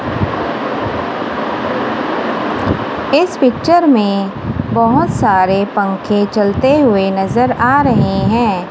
इस पिक्चर में बहोत सारे पंखे चलते हुए नजर आ रहे हैं।